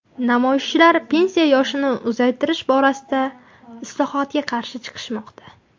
Namoyishchilar pensiya yoshini uzaytirish borasidagi islohotiga qarshi chiqishmoqda.